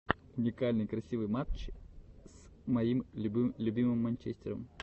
уникальный красивый матч с моим любимым манчестером